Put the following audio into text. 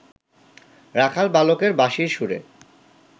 রাখাল বালকের বাঁশির সুরে